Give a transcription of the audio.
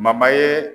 ye